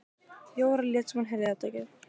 Jóra lét sem hún heyrði þetta ekki.